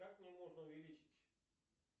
как мне можно увеличить